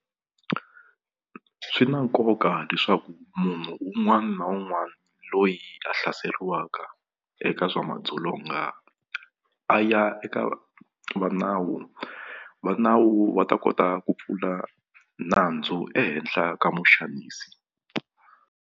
Swi na nkoka leswaku munhu un'wani na un'wani loyi a hlaseriwaka eka swa madzolonga a ya eka va nawu va nawu va ta kota ku pfula nandzu ehenhla ka muxanisi.